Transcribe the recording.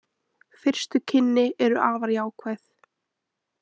Fyrstu kynni eru afar jákvæð